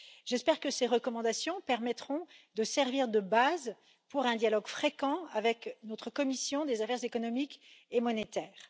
J'espère que ces recommandations permettront de servir de base pour un dialogue fréquent avec notre commission des affaires économiques et monétaires.